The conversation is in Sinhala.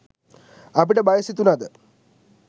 අපිට බය සිතුනද